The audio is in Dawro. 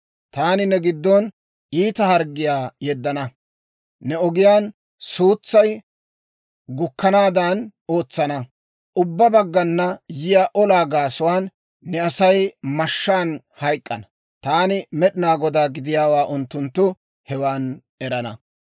Taani ne giddon iita harggiyaa yeddana; ne ogiyaan suutsay gukkanaadan ootsana. Ubbaa baggana yiyaa olaa gaasuwaan ne Asay mashshaan hayk'k'ana. Taani Med'inaa Godaa gidiyaawaa unttunttu hewan erana.